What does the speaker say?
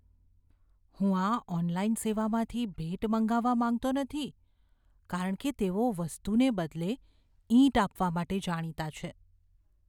હું આ ઑનલાઇન સેવામાંથી ભેટ મંગાવવા માંગતો નથી કારણ કે તેઓ વસ્તુને બદલે ઈંટ આપવા માટે જાણીતા છે.